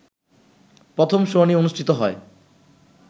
প্রথম শুনানি অনুষ্ঠিত হয়